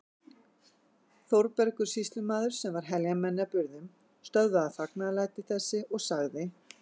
Þórbergur sýslumaður, sem var heljarmenni að burðum, stöðvaði fagnaðarlæti þessi og sagði